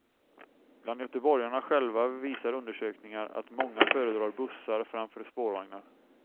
Bland göteborgarna själva visar undersökningar att många föredrar bussar framför spårvagnar.